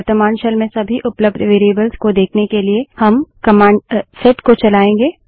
वर्त्तमान शेल में सभी उपलब्ध वेरिएबल्स को देखने के लिए हम कमांड सेट को चलायेंगे